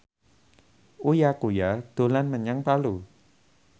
Uya Kuya dolan menyang Palu